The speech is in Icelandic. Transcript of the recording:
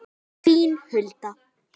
Þín Hulda.